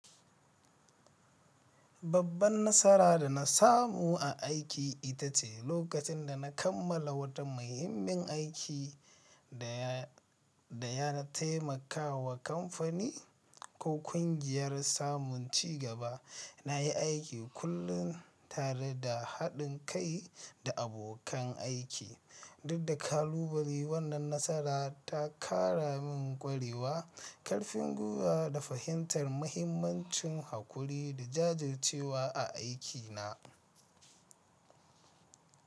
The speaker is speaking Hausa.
Babban nasara da na samu a aiki ita ce lokacin da na kammala wata muhimmin aiki da ya taimaka wa kamfani ko ƙungiyar samun cigaba. Na yi aiki kullum tare da haɗin kai da abokan aiki, duk da kalubale. Wannan nasara ta ƙara min ƙwarewa, ƙarfin gwiwa da fahimtar mahimmancin haƙuri da jajircewa a aikina.